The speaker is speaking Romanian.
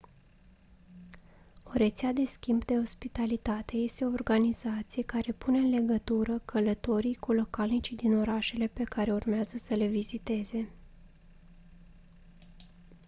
o rețea de schimb de ospitalitate este o organizație care pune în legătură călătorii cu localnicii din orașele pe care urmează să le viziteze